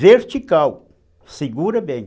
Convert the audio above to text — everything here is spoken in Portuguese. Vertical, segura bem.